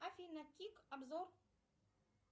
афина кик обзор